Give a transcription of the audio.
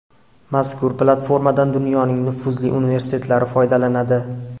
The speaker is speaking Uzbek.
Mazkur platformadan dunyoning nufuzli universitetlari foydalanadi.